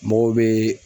Mɔgɔw bɛ